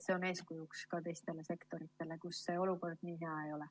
See on eeskujuks ka teistele sektoritele, kus see olukord nii hea ei ole.